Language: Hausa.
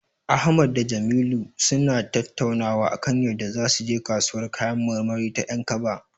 Ahmad da Jamilu suna tattaunawa akan yadda zasu je kasuwar kayan marmari ta 'Yankaba.